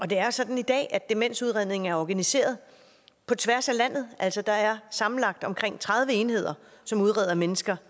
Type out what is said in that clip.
det er sådan i dag at demensudredningen er organiseret på tværs af landet altså der er sammenlagt omkring tredive enheder som udreder mennesker